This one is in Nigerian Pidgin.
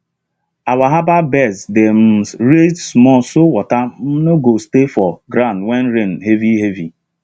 our herbal beds dey um raised small so water um no go stay for ground when rain heavy heavy